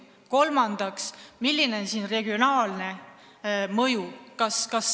Kolmandaks: milline on regionaalne mõju?